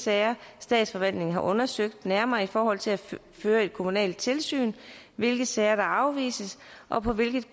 sager statsforvaltningen har undersøgt nærmere i forhold til at føre kommunalt tilsyn hvilke sager der afvises og på hvilket